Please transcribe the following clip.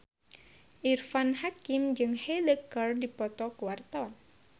Irfan Hakim jeung Hyde keur dipoto ku wartawan